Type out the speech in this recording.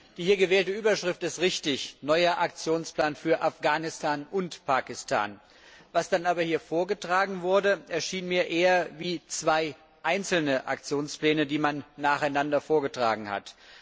Die hier gewählte Überschrift ist richtig Neuer Aktionsplan für Afghanistan und Pakistan. Was dann aber hier vorgetragen wurde, erschien mir eher wie zwei einzelne Aktionspläne, die man nacheinander vorgetragen hat.